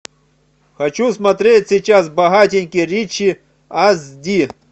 хочу смотреть сейчас богатенький ричи ас ди